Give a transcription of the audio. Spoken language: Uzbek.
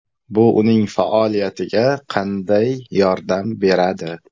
Bu uning faoliyatiga qanday yordam beradi?